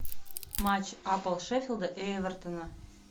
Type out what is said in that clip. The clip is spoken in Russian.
матч апл шеффилда и эвертона